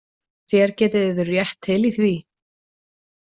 Þér getið yður rétt til í því